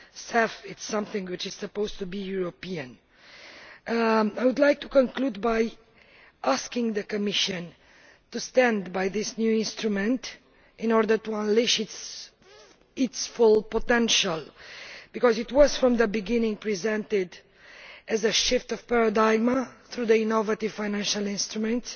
The CEF is something which is supposed to be European. I would like to conclude by asking the Commission to stand by this new instrument in order to unleash its full potential because it was, from the beginning, presented as a paradigm shift through this innovative financial instrument.